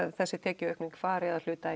þessi tekjuaukning fari að hluta